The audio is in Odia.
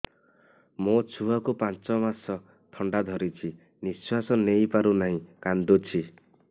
ମୋ ଛୁଆକୁ ପାଞ୍ଚ ମାସ ଥଣ୍ଡା ଧରିଛି ନିଶ୍ୱାସ ନେଇ ପାରୁ ନାହିଁ କାଂଦୁଛି